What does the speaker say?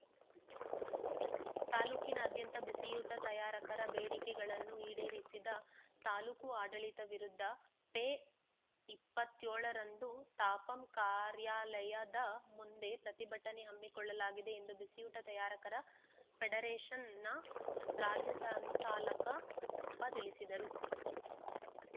ತಾಲೂಕಿನಾದ್ಯಂತ ಬಿಸಿಯೂಟ ತಯಾರಕರ ಬೇಡಿಕೆಗಳನ್ನು ಈಡೇರಿಸದ ತಾಲೂಕು ಆಡಳಿತದ ವಿರುದ್ಧ ಫೆ ಇಪ್ಪತ್ತ್ ಏಳರಂದು ತಾಪಂ ಕಾರ್ಯಾಲಯದ ಮುಂದೆ ಪ್ರತಿಭಟನೆ ಹಮ್ಮಿಕೊಳ್ಳಲಾಗಿದೆ ಎಂದು ಬಿಸಿಯೂಟ ತಯಾರಕರ ಫೆಡರೇಷನ್‌ನ ರಾಜ್ಯ ಸಂಚಾಲಕ ಸಪ್ಪ ತಿಳಿಸಿದರು